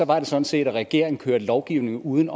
var det sådan set at regeringen kørte lovgivning uden